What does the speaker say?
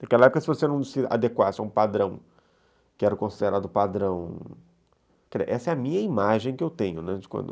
Naquela época, se você não se adequasse a um padrão, que era considerado padrão... Essa é a minha imagem que eu tenho, né, de quando